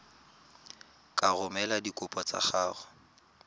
ka romela dikopo tsa gago